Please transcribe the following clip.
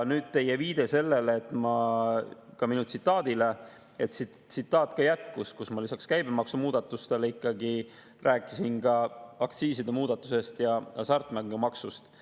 Nüüd, teie viide minu tsitaadile – see tsitaat jätkub, lisaks käibemaksumuudatustele rääkisin ma ikkagi ka aktsiiside muudatusest ja hasartmängumaksust.